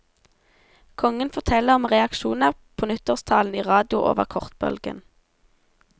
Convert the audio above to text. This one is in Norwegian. Kongen forteller om reaksjoner på nyttårstalen i radio over kortbølgen.